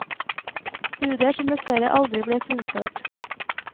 Studier som dessverre aldri ble fullført.